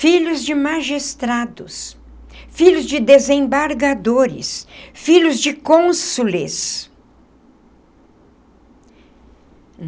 Filhos de magistrados, filhos de desembargadores, filhos de cônsules.